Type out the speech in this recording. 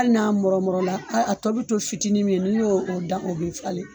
Hali n'a mɔrɔmɔrɔ la a a tɔ bɛ to fitinin min ye n'i y'o dan o bɛ falen